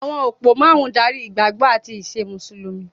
Àwọn òpó márùn-ún ń darí ìgbàgbọ́ àti ìṣe Mùsùlùmí.